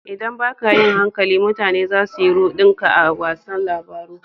ldan ba ka yin hankali, mutane za su yi rudin ka a wasan labaru.